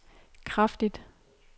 kraftigt